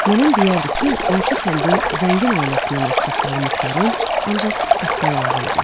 Nənəm deyərdi ki, qonşu kəndin zəngin ailəsinin ağsaqqalı Muxtarın ancaq saqqalı ağ idi.